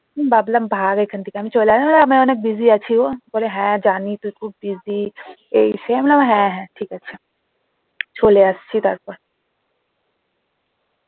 ভাবলাম ভাগ এখান থেকে আমি চলে আসলাম আমি অনেক busy আছি গো বলে হ্যাঁ জানি তুই খুব busy এই সেই আমি বললাম হ্যাঁ হ্যাঁ ঠিক আছে চলে আসছি তারপর